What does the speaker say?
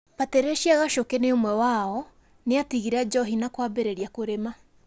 Patricia Gachuki nĩ ũmwe wao nĩatigire njohi na kwambĩrĩria kũrima